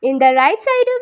In the right side of --